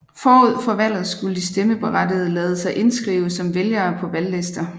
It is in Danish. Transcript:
Forud for valget skulle de stemmeberettigede lade sig indskrive som vælgere på valglister